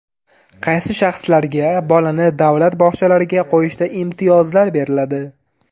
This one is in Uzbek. Qaysi shaxslarga bolani davlat bog‘chalariga qo‘yishda imtiyozlar beriladi?